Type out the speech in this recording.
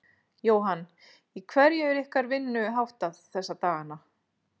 Jóhann: Í hverju er ykkar vinnu háttað núna þessa dagana?